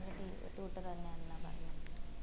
നല്ല tutor തന്നെ ആന്ന പറഞ്ഞെ